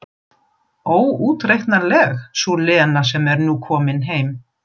Óútreiknanleg sú Lena sem nú er komin heim.